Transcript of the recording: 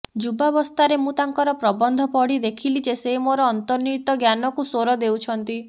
ଯୁବାବସ୍ଥାରେ ମୁଁ ତାଙ୍କର ପ୍ରବନ୍ଧ ପଢ଼ି ଦେଖିଲି ଯେ ସେ ମୋର ଅନ୍ତର୍ନିହିତ ଜ୍ଞାନକୁ ସ୍ୱର ଦେଉଛନ୍ତି